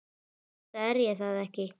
Enda er ég það ekki.